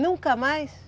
Nunca mais?